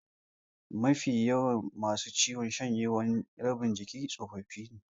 Mafi yawan masu ciwon shanyewar rabin jiki tsofaffi ne.